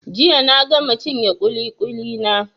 Jiya na gama cinye ƙuli-ƙuli na.